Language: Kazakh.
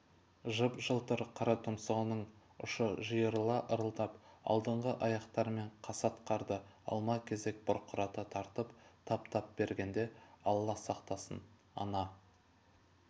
жып-жылтыр қара тұмсығының ұшы жиырыла ырылдап алдыңғы аяқтарымен қасат қарды алма-кезек бұрқырата тарпып тап-тап бергенде алла сақтасын ана